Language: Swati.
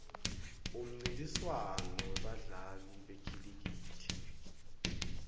umnrintiswano webadla li bekhilikithi